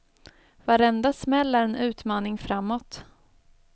Varenda smäll är en utmaning framåt.